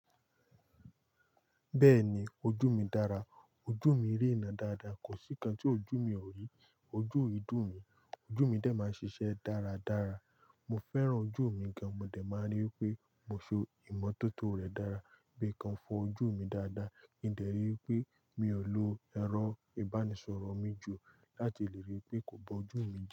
Bẹ́ẹ̀ni ojú mi dára, ojú mi rí ìnà dáadáa. Kò sí nkan tí ojú mi ò rí. Ojú o i dùn mi, ojú mi dẹ̀ máa ń ṣiṣẹ́ dáradára. Mo fẹ́ràn ojú mi gan, mo dẹ̀ máa ń rí pé mo se ìmọ́tótó rẹ̀ dára bí kan fọ ojú mi dáadáa. Ki n dẹ̀ rí pé mi ò lo ẹrọ ìbánisọ̀rọ̀ mi jù láti lè rí pé kò bọ́ ojú mi jẹ.